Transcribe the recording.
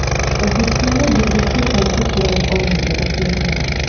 O‘zbekistonda diabetga qarshi kurash oyligi o‘tkaziladi.